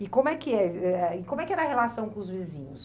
E como é que é e como é que era a relação com os vizinhos?